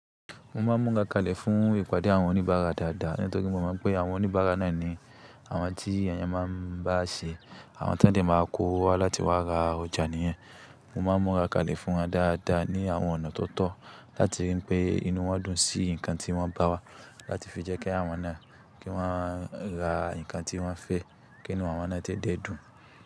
Mo ma múra kalẹ̀ fún ìpàdé àwọn oníbàárà dáadáa nítorí mo mọ̀ pé àwọn oníbàárà náà ni àwọn tí èèyàn máa ń bá ṣe, àwọn tí woń dẹ̀ máa kówo wá láti wá ra ọjà nìyẹn. Mo máa n múra kalẹ̀ fún wọn dáadáa ní àwọn ọ̀nà tó tọ́ láti rí pé inú wọn dùn sí nǹkan tí wọ́n bá wá láti fi jẹ́ kí àwọn náà kí wọ́n ra nǹkan tí wọ́n fẹ́ kí inú àwọn náà dẹ́ dùn.